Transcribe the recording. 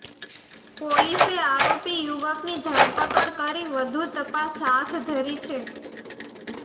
પોલીસે આરોપી યુવકની ધરપકડ કરી વધુ તપાસ હાથ ધરી છે